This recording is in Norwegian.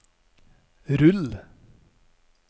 rull